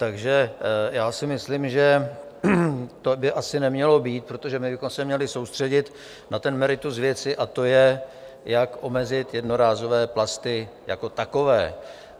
Takže já si myslím, že to by asi nemělo být, protože my bychom se měli soustředit na to meritum věci, a to je, jak omezit jednorázové plasty jako takové.